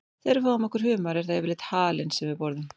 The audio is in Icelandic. Þegar við fáum okkur humar er það yfirleitt halinn sem við borðum.